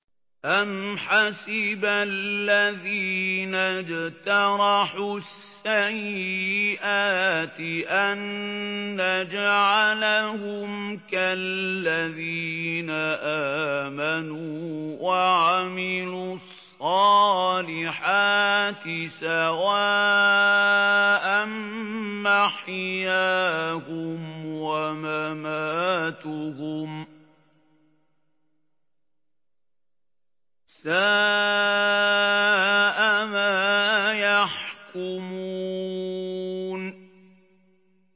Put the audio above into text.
أَمْ حَسِبَ الَّذِينَ اجْتَرَحُوا السَّيِّئَاتِ أَن نَّجْعَلَهُمْ كَالَّذِينَ آمَنُوا وَعَمِلُوا الصَّالِحَاتِ سَوَاءً مَّحْيَاهُمْ وَمَمَاتُهُمْ ۚ سَاءَ مَا يَحْكُمُونَ